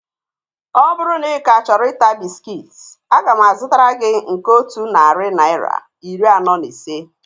Ọ bụrụ na ị ka chọrọ ịta bịskit, aga m azụtara gị nke otu narị naira, iri anọ na ise